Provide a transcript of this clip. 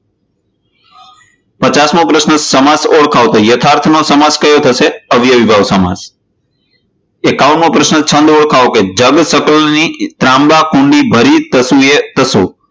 પચાસ મો પ્રશ્ન, સમાસ ઓળખાવો તો યથાર્થ નો સમાસ કયો થશે? તો અવ્યવી ભાવ સમાસ. એકાવન મો પ્રશ્ન, છંદ ઓળખાવો જગ સકલ ની ત્રાક કુળની ભરી